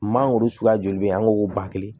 Mangoro suguya joli bɛ yen an k'o ban kelen